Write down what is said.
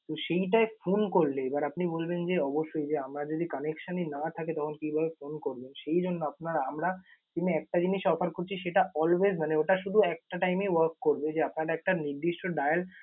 তো সেইটায় phone করলে এবার আপনি বলবেন যে অবশ্যই যে আমার যদি connection ই না থাকে তখন কিভাবে phone করবেন? সেই জন্য আপনারা আমরা SIM এ একটা জিনিস offer করছি সেটা always মানে ওটা শুধু একটা time এ work করবে যে আপনার একটা নির্দিষ্ট dial